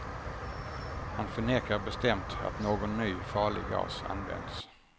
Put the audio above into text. Han förnekar bestämt att någon ny, farlig gas använts.